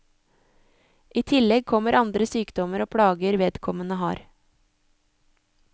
I tillegg kommer andre sykdommer og plager vedkommende har.